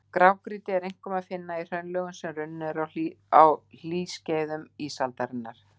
Grágrýti er einkum að finna í hraunlögum, sem runnin eru á hlýskeiðum ísaldarinnar.